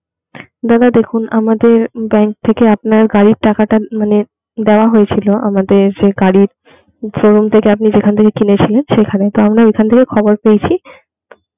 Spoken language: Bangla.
দাদা দেখুন আমাদের bank থেকে আপনার গাড়ির টাকাটা মানে দেওয়া হয়েছিল আমাদের গাড়ির শোরুম থেকে আপনি যেখান থেকে কিনেছিলেন সেখানে তো আমরা ঐখান থেকে খবর পেয়েছি